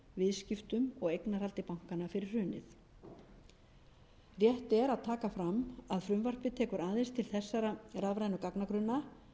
viðskiptum og eignarhaldi bankanna fyrir hrunið rétt er að taka fram að frumvarpið tekur aðeins til þessara rafrænu gagnagrunna